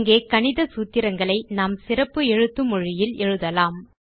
இங்கே கணித சூத்திரங்களை நாம் சிறப்பு எழுத்து மொழியில் எழுதலாம்